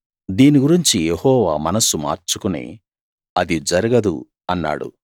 దీని గురించి యెహోవా మనస్సు మార్చుకుని అది జరగదు అన్నాడు